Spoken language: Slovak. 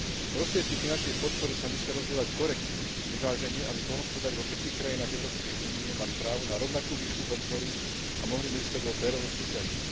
Prostriedky finančnej podpory sa musia rozdeľovať korektne, vyvážene, aby poľnohospodári vo všetkých krajinách Európskej únie mali právo na rovnakú výšku podpory a mohli medzi sebou férovo súťažiť.